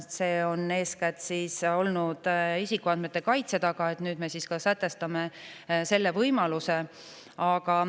See on olnud eeskätt isikuandmete kaitse taga, aga nüüd me sätestame ka selle võimaluse.